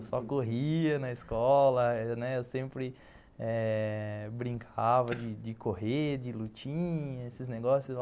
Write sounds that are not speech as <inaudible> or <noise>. Eu só corria na escola, <laughs> eu sempre eh brincava de correr, de lutinhas, esses negócios.